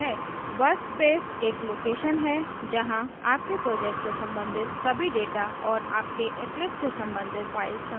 workspace एक location स्थान है जहां आपके project से संबंधित सभी data और आपके eclipse से संबंधित files संग्रहित होती हैं